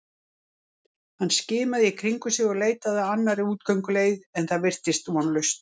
Hann skimaði í kringum sig og leitaði að annarri útgönguleið en það virtist vonlaust.